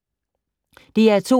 DR2